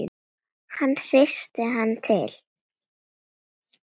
Hann hristir hana til.